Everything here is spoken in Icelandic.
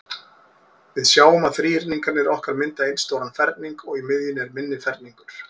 Við sjáum að þríhyrningarnir okkar mynda einn stóran ferning, og í miðjunni er minni ferningur.